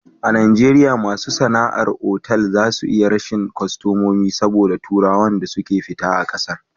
A najeriya masu sana'ar otal za su iya rashin kostamomi saboda turawan da suke fita a ƙasar